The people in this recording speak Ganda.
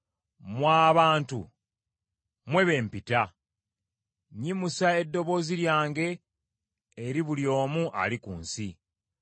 Mmwe abantu, mmwe b’empita; nnyimusa eddoboozi lyange eri buli omu ali ku nsi.